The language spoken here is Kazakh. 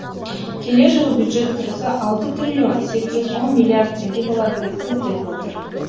келер жылы бюджет кірісі алты триллион сегіз жүз он миллиард теңге болады деп көзделіп отыр